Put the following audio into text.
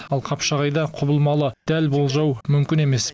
ал қапшағайда құбылмалы дәл болжау мүмкін емес